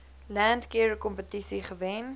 landcare kompetisie gewen